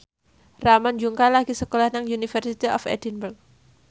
Ramon Yungka lagi sekolah nang University of Edinburgh